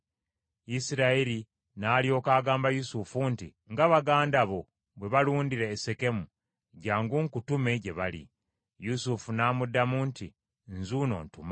Isirayiri n’alyoka agamba Yusufu nti, “Nga baganda bo bwe balundira e Sekemu, jjangu nkutume gye bali.” Yusufu n’amuddamu nti, “Nzuuno ntuma.”